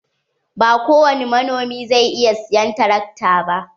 Ba ko wani manomi zai iya siyan tarakta ba.